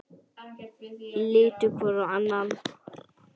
Litu hvor á annan.